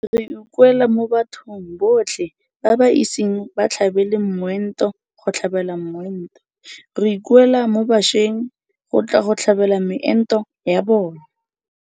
Re ikuela mo bathong botlhe ba ba iseng ba tlhabele moento go tlhabela moento. Re ikuela mo bašweng go tla go tlhabela meento ya bona.